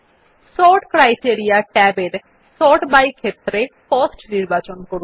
sort criteria tab এর sort by ক্ষেত্রে cost নির্বাচন করুন